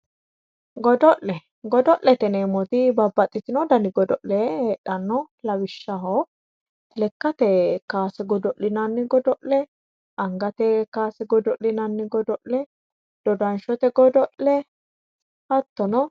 Godo'le ,godo'lete yineemmoti babbaxitinoti danni godo'le heedhano lawishshaho lekkate kowase godo'linanni godo'linanni godo'le angate kowase godo'linanni godo'le dodashote godo'le hattonno.